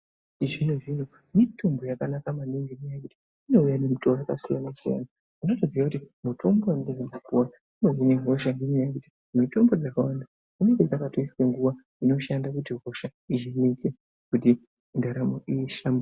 Mitombo ye chizvino zvino mitombo yaka naka maningi ngekuti inouya ne mutowo waka siyana siyana unoto ziya kuti mutombo wandiri kundo puwauno hina hosha nenyaya yekuti mitombo dzaka wanda dzinenge dzakato iswa nguva dzinoshanda kuti hosha dzi hinike kuti ndaramo i hlamburike.